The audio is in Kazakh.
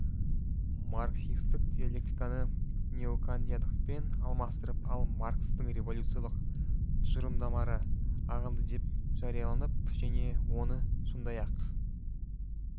марксистік диалектиканы неокантиандықпен алмастырып ал маркстің революциялық тұжырымдары ағымдыдеп жарияланып және оны сондай-ақ